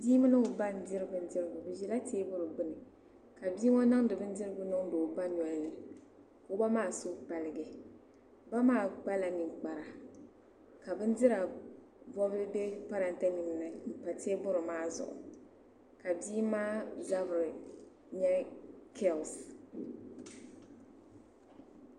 Bii mimi o ba n-diri bindirigu. Bi ʒi la tabili gbinni ka bii ŋɔ niŋdi bindirigu niŋdi o ba noli ni ko'ba maa suhi paligi. Ba maa kpa la ninkpara ka bindira bɔbili be parante nim ni m-pa tabili maa zuɣu. Ka bii maa zabiri nyɛ curls.